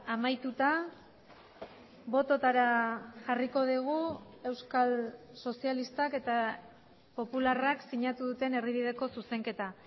amaituta bototara jarriko dugu euskal sozialistak eta popularrak sinatu duten erdibideko zuzenketa